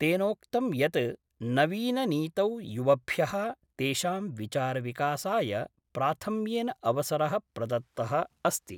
तेनोक्तं यत् नवीननीतौ युवभ्यः तेषां विचारविकासाय प्राथम्येन अवसरः प्रदत्तः अस्ति।